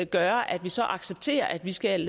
gøre at vi så accepterer at vi skal